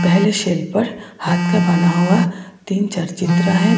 पहले शेल्फ पर हाथ का बना हुआ तीन चार चित्र है।